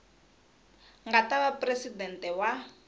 nga ta va presidente wa